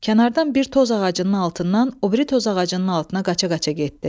Kənardan bir toz ağacının altından o biri toz ağacının altına qaça-qaça getdi.